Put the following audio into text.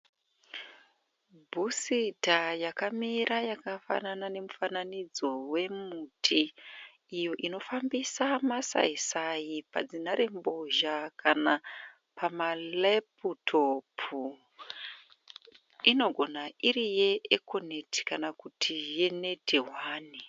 Bhusita yakamira yakafanana nemufanidzo wemuti iyo inofambisa masaisai padzinharembozha kana pama reputopu. . Inogona iri ye ekoneti kana kuti yeneti hwani.